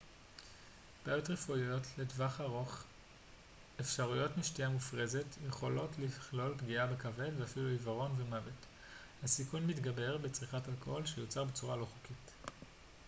בעיות רפואיות לטווח ארוך אפשריות משתייה מופרזת יכולות לכלול פגיעה בכבד ואפילו עיוורון ומוות הסיכון מתגבר בצריכת אלכוהול שיוצר בצורה לא חוקית